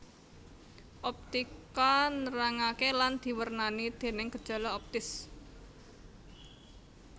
Optika nerangaké lan diwernani déning gejala optis